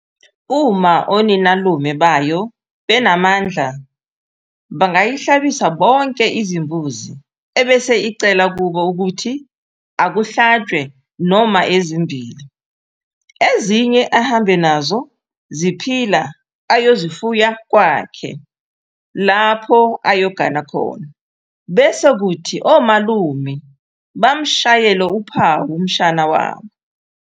Uma oninalume bayo benamandla bangayihlabisa bonke izimbuzi ebese icela kubo ukuthi akuhlatshwe noma ezimbili ezinye ahambe nazo ziphila ayozifuya kwakhe lapha ayogana khona bese kuthi omalume bamshayele uphawu umshana wabo.